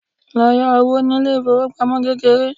lọ yá owó ní ilé ifowópamọ́ kékeré